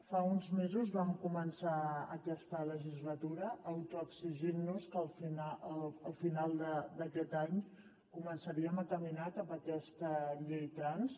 fa uns mesos vam començar aquesta legislatura autoexigint nos que al final d’aquest any començaríem a caminar cap a aquesta llei trans